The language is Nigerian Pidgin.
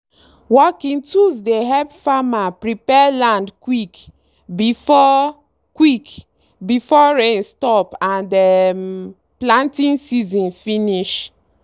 working tools dey help farmer prepare land quick before quick before rain stop and um planting season finish.